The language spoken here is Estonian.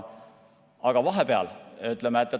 Aga vahepeal?